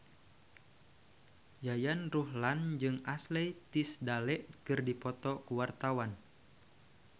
Yayan Ruhlan jeung Ashley Tisdale keur dipoto ku wartawan